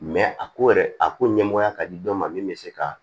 a ko yɛrɛ a ko ɲɛmɔgɔya ka di dɔ ma min bɛ se ka